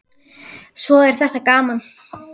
Svo er þetta gaman.